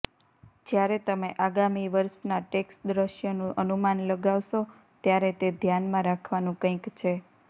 જ્યારે તમે આગામી વર્ષનાં ટેક્સ દૃશ્યનું અનુમાન લગાવશો ત્યારે તે ધ્યાનમાં રાખવાનું કંઈક છે